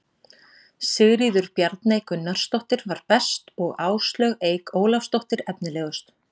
Sigríður Bjarney Gunnarsdóttir var best og Áslaug Eik Ólafsdóttir efnilegust.